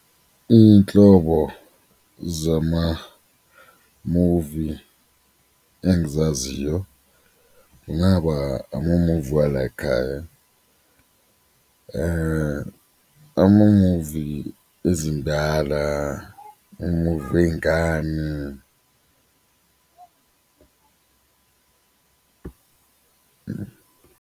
Iy'nhlobo zamamuvi engizaziyo kungaba amamuvi walayikhaya, amamuvi ezindala, umuvu wey'ngane.